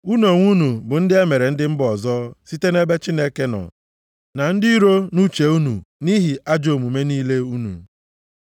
Unu onwe unu bụ ndị e mere ndị mba ọzọ site nʼebe Chineke nọ, na ndị iro nʼuche unu nʼihi ajọ omume niile unu.